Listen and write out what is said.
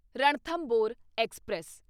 Ranthambore express